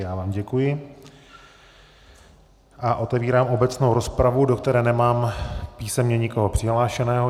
Já vám děkuji a otevírám obecnou rozpravu, do které nemám písemně nikoho přihlášeného.